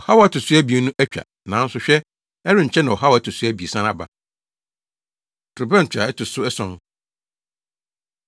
Ɔhaw a ɛto so abien no atwa, nanso hwɛ, ɛrenkyɛ na ɔhaw a ɛto so abiɛsa aba. Torobɛnto A Ɛto So Ason